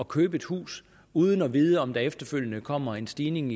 købe et hus uden at vide om der efterfølgende kommer en stigning